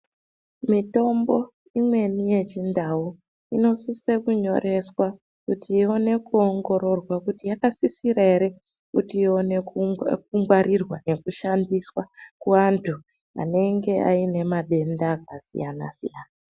Mitombo imweni yechiNdau inosise kunyoreswa kuti iwone kuongororwa kuti yaksisirwa here kuti iwone kungwarirwa nekushandiswa kuwandu anenge ayine matenda akasiyana siyana.